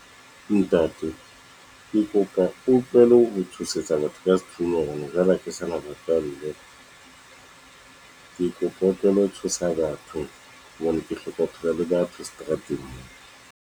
Ntate ke kopa o tlohele ho tshosetsa batho ka sethunya, ene jwale ha ke sana botswalle. Ke kopa o tlohele ho tshosa batho hobane ke hloka ho phela le batho seterateng mona.